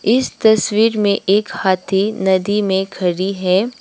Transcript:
इस तस्वीर में एक हाथी नदी में खड़ी है।